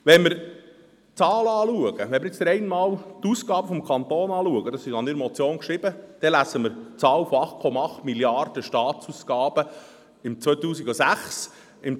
Wenn wir die Zahlen betrachten, wenn wir rein die Ausgaben des Kantons betrachten – dies habe ich in meiner Motion geschrieben –, lesen wir die Zahl von 8,8 Mrd. Franken Staatsausgaben im Jahr 2006.